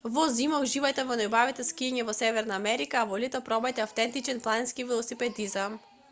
во зима уживајте во најубавото скијање во северна америка а во лето пробајте автентичен планински велосипедизам